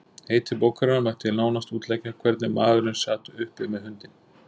Heiti bókarinnar mætti nánast útleggja Hvernig maðurinn sat uppi með hundinn